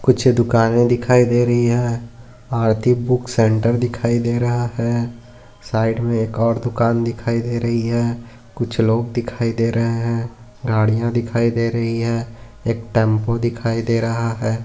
कुछ दुकाने दिखाई दे रही है आरती बुक सेंटर दिखाई दे रहा है साइड मे एक और दुकान दिखाई दे रही हे कुछ लोग दिखाई दे रहे है गाड़िया दिखाई दे रही है एक टेम्पो दिखाई दे रहा है।